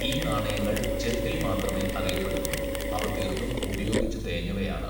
ഈ നാണയങ്ങൾ ചെമ്പിൽ മാത്രമേ അറിയപ്പെടുന്നുള്ളൂ, അവ തീർത്തും ഉപയോഗിച്ചു തേഞ്ഞവയാണ്.